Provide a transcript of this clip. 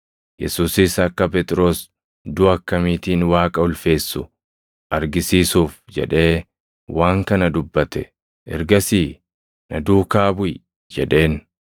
Yesuusis akka Phexros duʼa akkamiitiin Waaqa ulfeessu argisiisuuf jedhee waan kana dubbate; ergasii, “Na duukaa buʼi” jedheen.